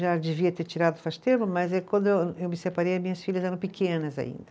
Já devia ter tirado faz tempo, mas eh quando eu eu me separei, as minhas filhas eram pequenas ainda.